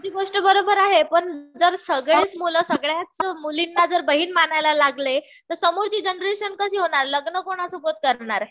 तुमची गोष्ट बरोबर आहे. पण जर सगळेच मुलं सगळ्याच मुलींना जर बहीण मानायला लागले. तर समोरची जनरेशन कशी होणार. लग्न कोणासोबत करणार ?